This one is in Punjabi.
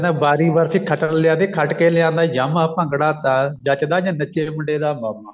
ਕਹਿੰਦਾ ਵਾਰੀ ਵਰਸੀ ਖੱਟਣ ਲਿਆ ਸੀ ਖੱਟ ਕੇ ਲਿਆਂਦਾ Yamaha ਭੰਗੜਾ ਤਾਂ ਜੱਚਦਾ ਜੇ ਨੱਚੇ ਮੁੰਡੇ ਦਾ ਮਾਮਾ